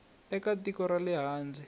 eka tiko ra le handle